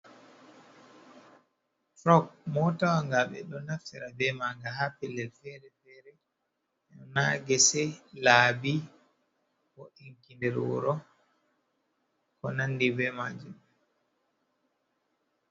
Fok. motawaga be ɗo naffera be manga ha pellel fere-fere. Ha gese labi, nder wuro ko nandi be majum.